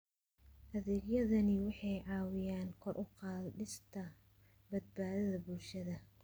Adeegyadani waxay caawiyaan kor u qaadista badbaadada bulshada.